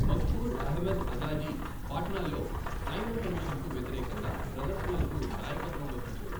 మఘ్ఫూర్ అహ్మద్ అజాజీ పాట్నాలో సైమన్ కమిషన్కు వ్యతిరేకంగా ప్రదర్శనలకు నాయకత్వం వహించారు.